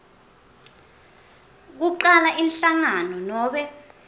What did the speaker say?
kucala inhlangano nobe